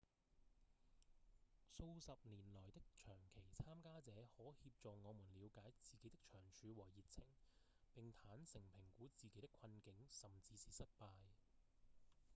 數十年來的長期參與者可協助我們了解自己的長處和熱情並坦誠評估自己的困境甚至是失敗